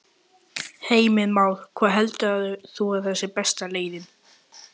Heimir Már: Hvað heldur þú að sé besta leiðin?